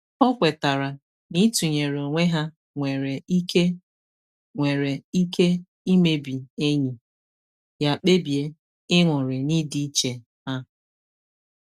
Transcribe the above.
O kwetara na ịtụnyere onwe ha nwere ike nwere ike imebi enyi, ya kpebie ịṅụrị n'idi iche ha